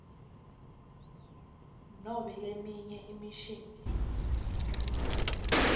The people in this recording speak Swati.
nobe leminye imishini